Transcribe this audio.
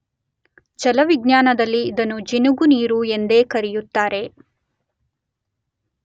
ಜಲವಿಜ್ಞಾನದಲ್ಲಿ ಇದನ್ನು ಜಿನುಗುನೀರು ಎಂದೇ ಕರೆಯುತ್ತಾರೆ.